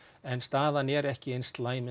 en staðan er ekki eins slæm